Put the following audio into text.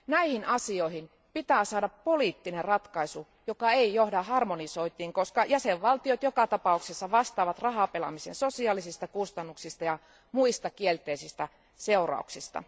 Näihin asioihin pitää saada poliittinen ratkaisu, joka ei johda harmonisointiin, koska jäsenvaltiot joka tapauksessa vastaavat rahapelaamisen sosiaalisista kustannuksista ja muista kielteisistä seurauksista.